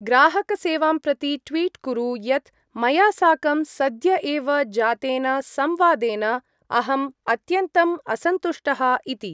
ग्राहकसेवां प्रति ट्विट् कुरु यत् मया साकं सद्य एव जातेन संवादेन अहम् अत्यन्तम् असन्तुष्टः इति।